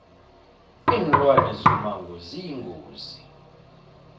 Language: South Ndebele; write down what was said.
linlwane zomango ziyingozi